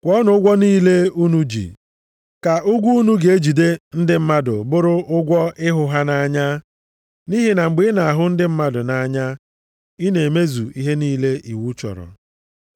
Kwụọnụ ụgwọ niile unu ji. Ka ụgwọ unu ga-ejide ndị mmadụ bụrụ ụgwọ ịhụ ha nʼanya. Nʼihi na mgbe ị na-ahụ ndị mmadụ nʼanya, ị na-emezu ihe niile iwu chọrọ.